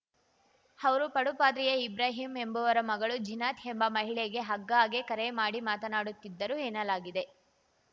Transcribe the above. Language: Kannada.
ಅವರು ಪಡುಪಾದ್ರಿಯ ಇಬ್ರಾಹಿಂ ಎಂಬುವರ ಮಗಳು ಜೀನತ್‌ ಎಂಬ ಮಹಿಳೆಗೆ ಆಗ್ಗಾಗೆ ಕರೆ ಮಾಡಿ ಮಾತನಾಡುತ್ತಿದ್ದರು ಎನ್ನಲಾಗಿದೆ